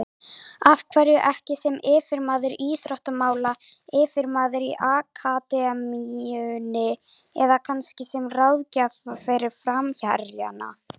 Af hverju ekki sem yfirmaður íþróttamála, yfirmaður í akademíunni eða kannski sem ráðgjafi fyrir framherjana?